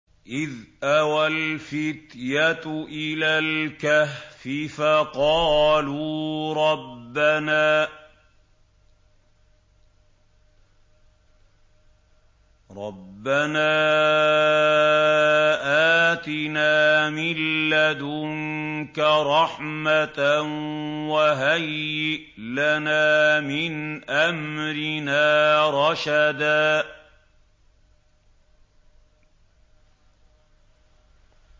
إِذْ أَوَى الْفِتْيَةُ إِلَى الْكَهْفِ فَقَالُوا رَبَّنَا آتِنَا مِن لَّدُنكَ رَحْمَةً وَهَيِّئْ لَنَا مِنْ أَمْرِنَا رَشَدًا